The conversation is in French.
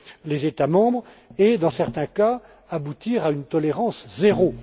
les États membres et, dans certains cas, aboutir à une tolérance zéro.